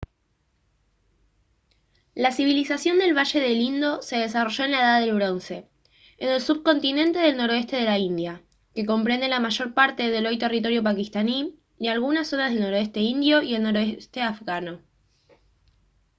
la civilización del valle del indo se desarrolló en la edad del bronce en el subcontinente del noroeste de la india que comprende la mayor parte del hoy territorio pakistaní y algunas zonas del noroeste indio y el noreste afgano